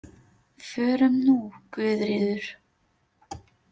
Förum nú, Guðríður.